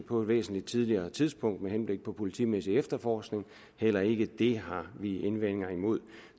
på et væsentlig tidligere tidspunkt med henblik på den politimæssige efterforskning heller ikke det har vi indvendinger imod